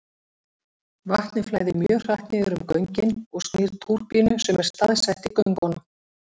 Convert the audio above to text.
Vatnið flæðir mjög hratt niður um göngin og snýr túrbínu sem er staðsett í göngunum.